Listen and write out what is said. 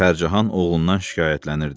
Pərcahan oğlundan şikayətlənirdi.